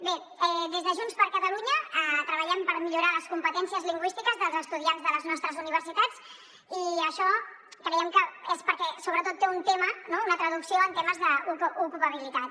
bé des de junts per catalunya treballem per millorar les competències lingüístiques dels estudiants de les nostres universitats i això creiem que és perquè sobretot té un tema no una traducció en termes d’ocupabilitat